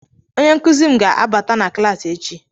Onye nkuzi m ga-abata na klaasị echi